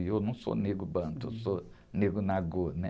E eu não sou negro bantu, eu sou negro nagô, né?